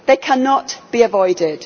They cannot be avoided.